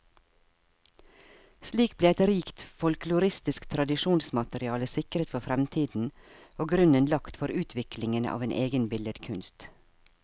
Slik ble et rikt folkloristisk tradisjonsmateriale sikret for fremtiden, og grunnen lagt for utviklingen av en egen billedkunst.